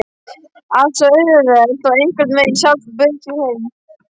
Allt svo auðvelt og einhvern veginn sjálfsagt, bauð sér heim.